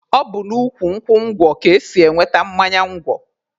Ọ bụ n'ukwu nkwụ ngwọ ka e si enweta mmanya ngwọ.